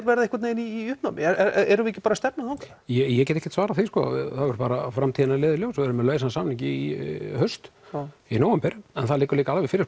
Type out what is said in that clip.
verða einhvern veginn í uppnámi erum við ekki bara að stefna þangað ég get ekkert svarað því það verður bara framtíðin að leiða í ljós og við erum með lausan samning í haust í nóvember en það liggur líka alveg fyrir